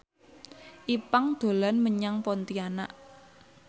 Ipank dolan menyang Pontianak